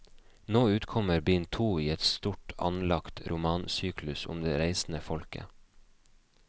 Nå utkommer bind to i en stort anlagt romansyklus om det reisende folket.